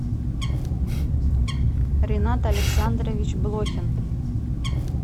ренат александрович блохин